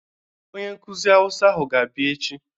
Onyenkụzị hausa ahụ ga-abịa echi.